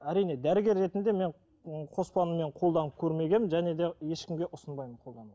әрине дәрігер ретінде мен ыыы қоспаны мен қолданып көрмегенмін және де ешкімге ұсынбаймын қолдануға